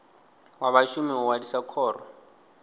wa vhashumi u ṅwalisa khoro